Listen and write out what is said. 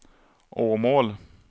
Åmål